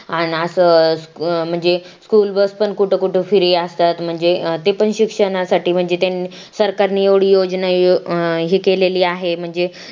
आणि असं अ~ म्हणजे school bus पण कुठ कुठ free असतात म्हणजे ते पण शिक्षणासाठी म्हणजे त्यांनी सरकारने एवढी योजना अ~ हे केलेली आहे म्हणजे